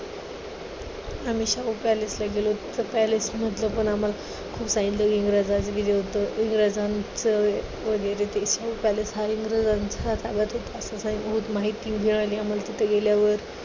आम्ही शाहू palace ला गेलो. त्या palace मधलं पण आम्हाला इंग्रजांनी दिलं होतं. इंग्रजांचं वगैरे ते शाहू palace हा इंग्रजांचा माहिती मिळाली आम्हाला तिथे गेल्यावर.